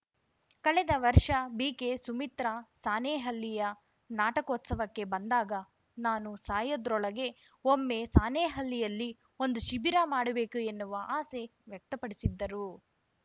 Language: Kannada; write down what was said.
ಕಳೆದ ವರ್ಷ ಬಿಕೆ ಸುಮಿತ್ರಾ ಸಾಣೇಹಳ್ಳಿಯ ನಾಟಕೋತ್ಸವಕ್ಕೆ ಬಂದಾಗ ನಾನು ಸಾಯದ್ರೊಳಗೆ ಒಮ್ಮೆ ಸಾಣೇಹಳ್ಳಿಯಲ್ಲಿ ಒಂದು ಶಿಬಿರ ಮಾಡಬೇಕು ಎನ್ನುವ ಆಸೆ ವ್ಯಕ್ತಪಡಿಸಿದ್ದರು